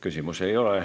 Küsimusi ei ole.